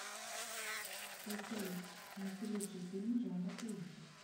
поисковик найти лучшие фильмы жанра ужасы